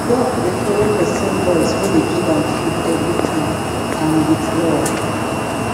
duck dey follow pesin voice wey dey give am food every time and with love